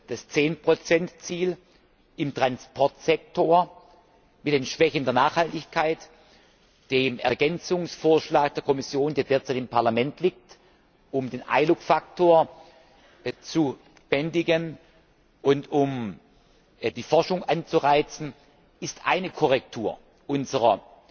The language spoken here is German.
das 10 Ziel im Transportsektor mit den Schwächen der Nachhaltigkeit, dem Ergänzungsvorschlag der Kommission, der derzeit im Parlament liegt, um den Eyelook Faktor zu bändigen und um die Forschung anzureizen, ist eine Korrektur unserer